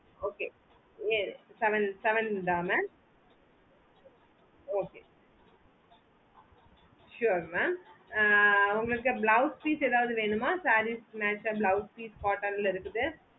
okay seven seven தா mam okay sure mam ஆஹ் உங்களுக்கு blouse piece ஏதாவது வேணுமா sarees க்கு match ஆஹ் blouse piece cotton ல இருக்கு